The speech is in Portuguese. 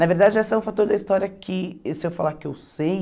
Na verdade, esse é um fator da história que, se eu falar que eu sei...